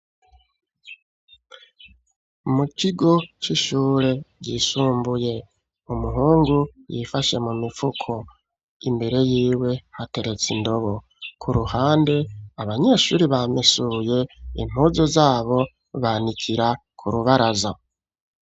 Mu kigo c'ishure ryisumbuye. Umuhungu yifashe mu mifuko. Imbere yiwe hateretse indobo. Ku ruhande abanyeshure bamesuye impuzu zabo banikira ku rubaraza.